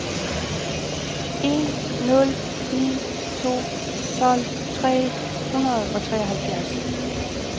en nul ni to tolv tre hundrede og treoghalvfjerds